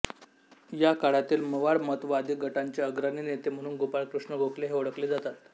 या काळातील मवाळ मतवादी गटाचे अग्रणी नेते म्हणून गोपाळकृष्ण गोखले हे ओळखले जातात